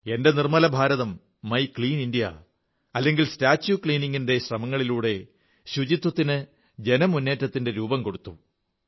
എന്റെ നിർമ്മല ഭാരതം my clean India statue cleaning ശ്രമങ്ങളിലൂടെ സ്വച്ഛതയ്ക്ക് ജനമുന്നേറ്റത്തിന്റെ രൂപം കൊടുത്തു